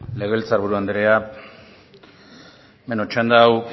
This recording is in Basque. legebiltzar buru andrea bueno txanda hau